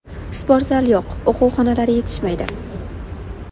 Sportzal yo‘q, o‘quv xonalari yetishmaydi.